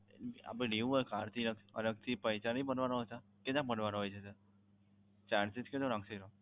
આપણે લેવું હોય card અલગથી પૈસા નઇ બનવાના હોતા કેના બનવાના હોય છે sir? Charges કેટલો લાગશે તેનો?